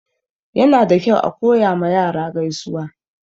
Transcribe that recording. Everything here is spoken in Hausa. Yana da kyau a koya ma yara gaisuwa.